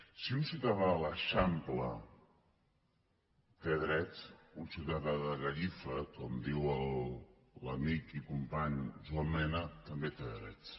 si un ciutadà a l’eixample té drets un ciutadà de gallifa com diu l’amic i company joan mena també té drets